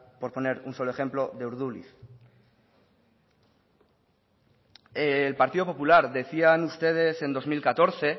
por poner un solo ejemplo de urduliz el partido popular decían ustedes en dos mil catorce